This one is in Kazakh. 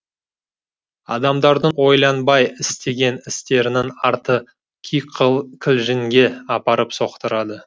адамдардың ойланбай істеген істерінің арты апарып соқтырады